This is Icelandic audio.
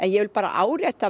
ég vil bara árétta